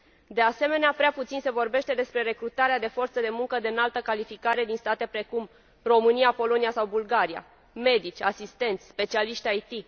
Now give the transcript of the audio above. De asemenea, prea puțin se vorbește despre recrutarea de forță de muncă de înaltă calificare din state precum România, Polonia sau Bulgaria medici, asistenți, specialiști IT.